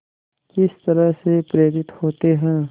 किस तरह से प्रेरित होते हैं